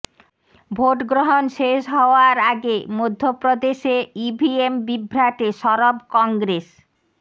ভোটগ্রহণ শেষ হওয়ার আগে মধ্যপ্রদেশে ইভিএম বিভ্রাটে সরব কংগ্রেস